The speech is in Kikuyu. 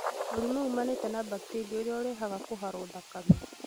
Mũrimũ umaanĩte na bacteria ũrĩa ũrehaga kũharwo gatema